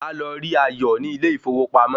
Máa lọ rí Ayọ̀ ní ilé ìfowópamọ́